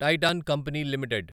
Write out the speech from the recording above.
Titan company limited